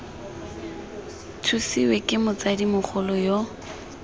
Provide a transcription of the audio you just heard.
thusiwe ke motsadi mogolo yo